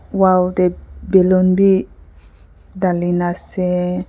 wall te balloon bi dhalina ase.